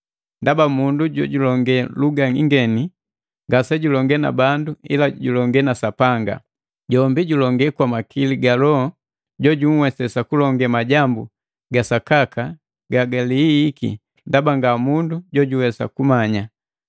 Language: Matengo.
Ndaba mundu jojulonge luga ingeni ngasejulonge na bandu ila julonge na Sapanga. Jombi julonge kwa makili ga Loho jojunhwesesa kulonge majambu ga sakaka gagilihihiki ndaba nga mundu jojuwesa kumanya.